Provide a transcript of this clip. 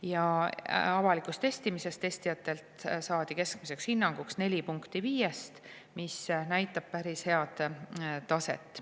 Ja avalikul testimisel saadi testijatelt keskmiseks hinnanguks neli punkti viiest, mis näitab päris head taset.